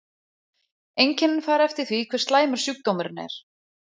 Einkennin fara eftir því hve slæmur sjúkdómurinn er.